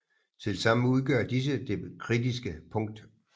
Tilsammen udgør disse det kritiske punkt